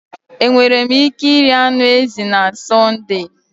Enwere m ike iri anụ ezi na Sọnde?